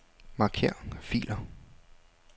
Marker filer.